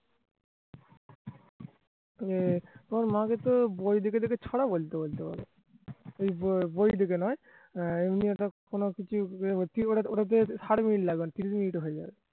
এর তোমার মা কে তো বই দেখে দেখে ছড়া বৈলতে বলতে পারো এই বই দেখে নয় আহ এমনি একটা কোনোকিছু ওটাতে thirty minute লাগবে না তিন minute এ হয়ে যাবে